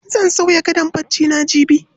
Zan sauya gadon barcina jibi.